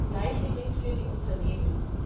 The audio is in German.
Das Gleiche gilt für die Unternehmen.